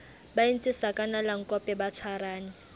ba entse sakanalankope ba tshwarane